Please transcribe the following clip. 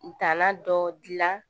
Dala dɔ dilan